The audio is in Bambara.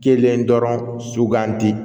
Kelen dɔrɔn sugandi